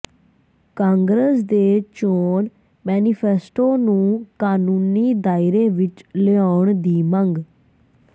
ਕਾਂਗਰਸ ਦੇ ਚੋਣ ਮੈਨੀਫੈਸਟੋ ਨੂੰ ਕਾਨੂੰਨੀ ਦਾਇਰੇ ਵਿੱਚ ਲਿਆਉਣ ਦੀ ਮੰਗ